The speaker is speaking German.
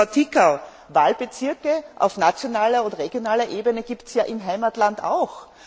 Und, Frau Tiçau, Wahlbezirke auf nationaler und regionaler Ebene gibt es ja im Heimatland auch.